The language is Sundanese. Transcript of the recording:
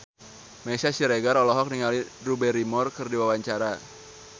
Meisya Siregar olohok ningali Drew Barrymore keur diwawancara